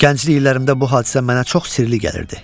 Gənclik illərimdə bu hadisə mənə çox sirli gəlirdi.